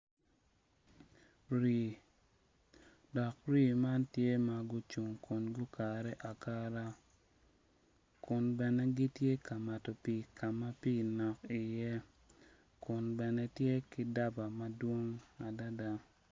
Rii, dok rii man gitye ma gucung ma gukare akara kun bene gitye ka mato pii ka ma pii nok iye.